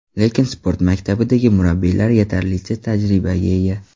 Lekin sport maktabidagi murabbiylar yetarlicha tajribaga ega.